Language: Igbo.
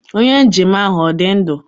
Onye njem ahụ ọ dị ndụ?